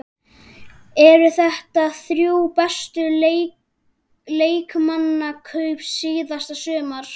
Eru þetta þrjú bestu leikmannakaup síðasta sumars?